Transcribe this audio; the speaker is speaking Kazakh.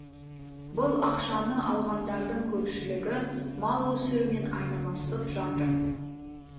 бұл ақшаны алғандардың көпшілігі мал өсірумен айналысып жатыр